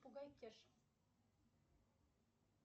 попугай кеша